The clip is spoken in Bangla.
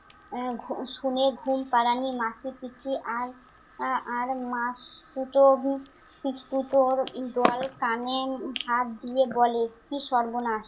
আহ শুনে ঘুম পাড়ানি মাসিপিসি আর আর মাসতুতো উম পিসতুতো ঈগল কানে হাত দিয়ে বলে, কি সর্বনাশ!